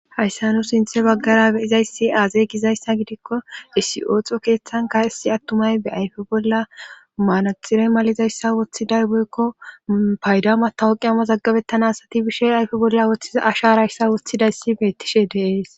Hayssa no sinthe baggara beyizaysi aazey gizayssa gidikko issi ooxo keeththanka issi attumay be ayfe bolla maanaxirey malizayssa woththiday boykko paydama tawoqi ama zaggabettana asati bishe ayfe bolla ththi asha rayssa woththidayssi beettishe deees.